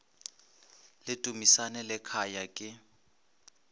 le dumisani le khaya ke